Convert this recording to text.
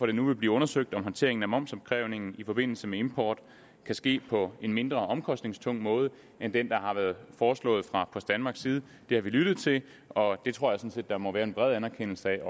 det nu vil blive undersøgt om håndteringen af momsopkrævningen i forbindelse med import kan ske på en mindre omkostningstung måde end den der har været foreslået fra post danmarks side det har vi lyttet til og jeg tror at der må være en bred anerkendelse af at